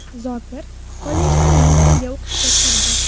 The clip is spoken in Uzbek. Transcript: Zokir kollejlarning biriga o‘qishga kirdi.